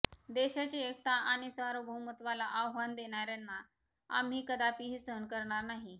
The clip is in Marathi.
देशाची एकता आणि सार्वभौमत्वाला आव्हान देणाऱयांना आम्ही कदापिही सहन करणार नाही